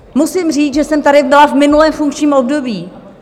Musím říct, že jsem tady byla v minulém funkčním období.